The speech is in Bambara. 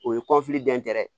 O ye